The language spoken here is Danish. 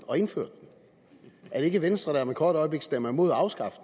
og indførte den er det ikke venstre der om et kort øjeblik stemmer imod at afskaffe